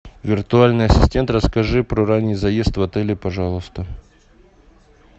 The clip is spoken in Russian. виртуальный ассистент расскажи про ранний заезд в отеле пожалуйста